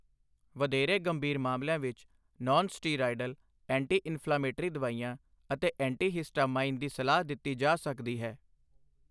ਵਧੇਰੇ ਗੰਭੀਰ ਮਾਮਲਿਆਂ ਵਿੱਚ, ਨਾਨ ਸਟੀਰਾਇਡਲ ਐਂਟੀ ਇਨਫ਼ਲਾਮੇਟਰੀ ਦਵਾਈਆਂ ਅਤੇ ਐਂਟੀ ਹਿਸਟਾਮਾਈਨ ਦੀ ਸਲਾਹ ਦਿੱਤੀ ਜਾ ਸਕਦੀ ਹੈ।